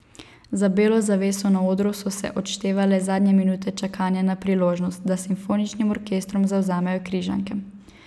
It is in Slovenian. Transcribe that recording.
Za belo zaveso na odru so se odštevale zadnje minute čakanja na priložnost, da s simfoničnim orkestrom zavzamejo Križanke.